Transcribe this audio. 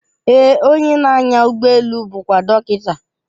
Ee, onye na-anya ụgbọelu bụkwa dọkịta.